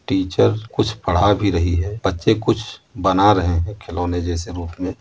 Teacher कुछ पढ़ा भी रही है। बच्चे कुछ बना रहे हैं। खिलौने जैसे रूप में --